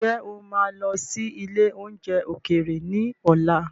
Ǹjẹ́ o máa lọ sí ilé oúnjẹ ókéré ni ọ̀la?